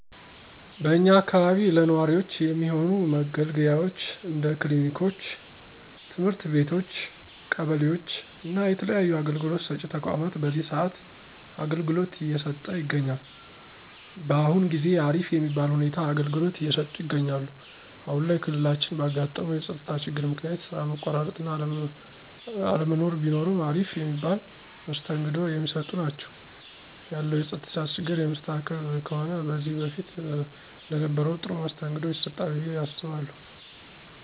በእኛ አካባቢ ለነዋሪወች የሚሆኑ መገልገያወች እንደ ክሊኒኮች፣ ትምህርት ቤቶች ቀበሌወች እና የተለያዩ አገልግሎት ሰጪ ተቋማት በዚህ ሰአት አገልግሎት እየሰጠ ይገኛል። በአሁን ጊዜ አሪፍ የሚባል ሁኔታ አገልግሎት እየሰጡ ይገኛሉ። አሁን ላይ ክልላችን ባጋጠመው የፀጥታ ችግር ምክንያት ስራ መቆራረጥ እና አለመኖር ቢኖርም አሪፍ የሚባል መስተንግዶ የሚሰጡ ናቸው። ያለው የፀጥታ ችግር የሚስተካከል ከሆነ ከዚህ በፊት እንደነበረው ጥሩ መስተንግዶ ይሰጣሉ ብየ አስባለሁ።